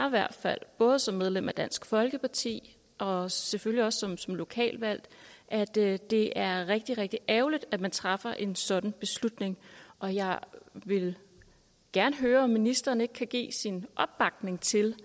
i hvert fald både som medlem af dansk folkeparti og selvfølgelig også som som lokalt valgt at det det er rigtig rigtig ærgerligt at man træffer en sådan beslutning og jeg vil gerne høre om ministeren ikke kan give sin opbakning til